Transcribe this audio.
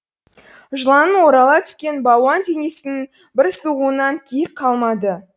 жыланның орала түскен балуан денесінің бір сығуынан киік қалмады